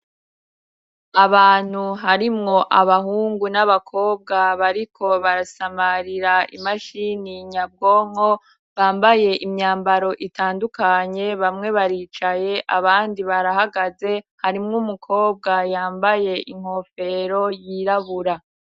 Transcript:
Abantu harimwo abahungu n'abakobwa bariko barasamarira imashini nyabwonko bambaye imyambaro itandukanye, bamwe baricaye abandi barahagaze, harimwo umukobwa yambaye inkofero yirabura.